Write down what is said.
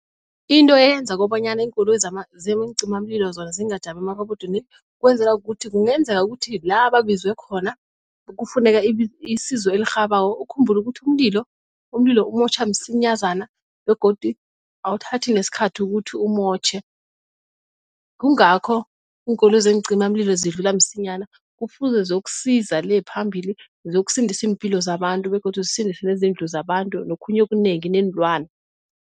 Into eyenza kobanyana iinkoloyi zeencima mlilo zona zingajami amarobodini kwenzela kukuthi kungenzeka ukuthi la babizwe khona kufuneka isizo elirhabako. Ukhumbule ukuthi umlilo umlilo umotjha msinyazana begodu awuthathi nesikhathi ukuthi umotjhe. Kungakho iinkoloyi zeencima mlilo zidlula msinyana kufuze ziyokusiza le phambili ziyokusindisa iimpilo zabantu begodu zisindise nezindlu zabantu nokhunye okunengi neenlwana.